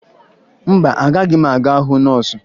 Mba, agaghị m aga hụ nọọsụ